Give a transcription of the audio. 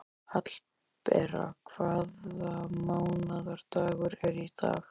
Hallbera, hvaða mánaðardagur er í dag?